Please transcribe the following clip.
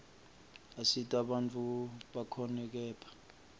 asita bantfu bakhone kephla